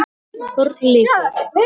BÖRN LÝKUR